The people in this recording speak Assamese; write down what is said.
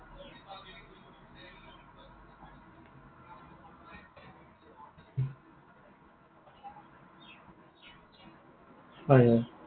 হয় হয়।